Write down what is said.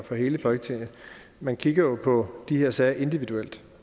for hele folketinget at man kigger på de her sager individuelt